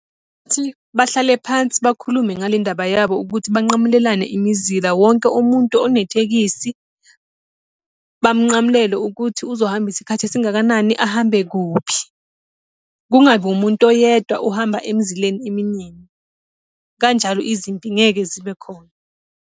bahlale phansi bakhulume ngale ndaba yabo ukuthi banqamulelane imizila, wonke umuntu onetekisi bamunqamulele ukuthi uzohamba isikhathi esingakanani, ahambe kuphi. Kungabi umuntu oyedwa ohamba emizileni eminingi. Kanjalo izimpi ngeke zibe khona.